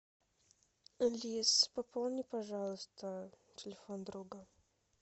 алиса пополни пожалуйста телефон друга